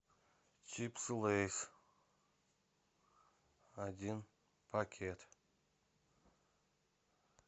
чипсы лейс один пакет